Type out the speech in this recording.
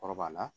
Kɔrɔ b'a la